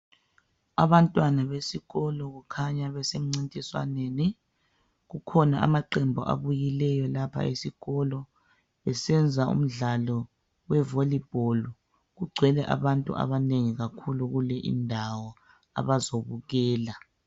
Abantwana besikolo kukhanya basemncintiswaneni. Kukhona amaqembu abuyileyo lapha esikolo besenza umdlalo wevolibholu. Kugcwele abantu abanengi kakhulu kule indawo abazobukela.